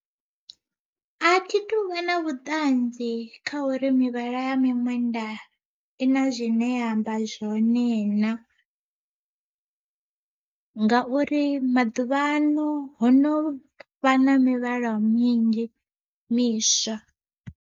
Athi tu vha na vhuṱanzi kha uri mivhala ya miṅwenda i na zwine ya amba zwone na, ngauri maḓuvhano ho no vha na mivhala minzhi miswa.